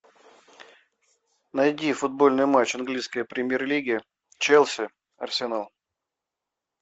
найди футбольный матч английской премьер лиги челси арсенал